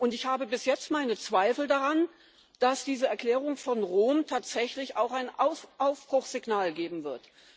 Und ich habe bis jetzt meine Zweifel daran, dass diese Erklärung von Rom tatsächlich ein Aufbruchssignal geben wird.